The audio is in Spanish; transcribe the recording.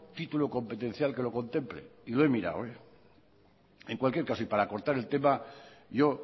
título competencial que lo contemple y lo he mirado en cualquier caso y para cortar el tema yo